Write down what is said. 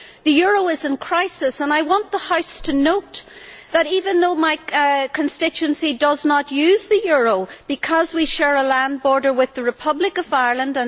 The euro is in crisis, and I want the House to note that even though my constituency does not use the euro, we share a land border with the Republic of Ireland.